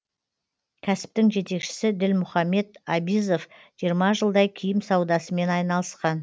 кәсіптің жетекшісі ділмұхамед абизов жиырма жылдай киім саудасымен айналысқан